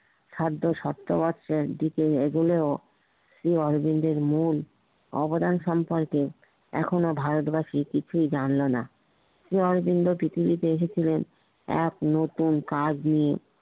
খাদ্য স্বাস্থ্যের দিকে এগোলেও শ্রি অরবিন্দের মূল অবদান সম্পর্কে এখনও ভারতবাসী কিছুই জানল না, শ্রি অরবিন্দ পৃথিবীতে এসেছিলেন এক নতুন কাজ নিয়ে